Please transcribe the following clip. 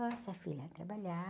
filha,